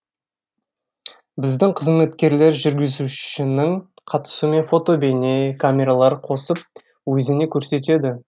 біздің қызметкерлер жүргізушінің қатысуымен фото бейне камералар қосып өзіне көрсетеді